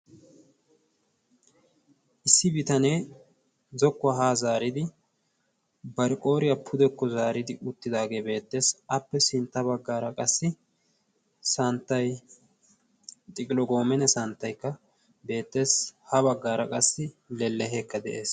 Issi bitanee zokkuwaa haa zaaridi bariqooriyaa pudekko zaaridi uttidaagee beettees appe sintta baggaara qassi santtai xiqilogomene santtaikka beetteesi. ha baggaara qassi lelleheekka de'ees.